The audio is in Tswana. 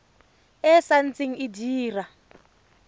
e sa ntse e dira